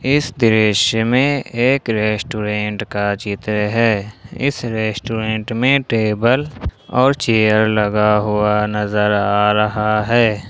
इस दृश्य में एक रेस्टोरेंट का चित्र है इस रेस्टोरेंट में टेबल और चेयर लगा हुआ नजर आ रहा है।